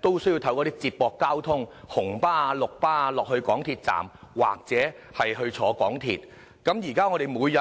都需要乘搭接駁交通出入，例如乘搭紅色小巴或綠色小巴到港鐵站轉乘港鐵。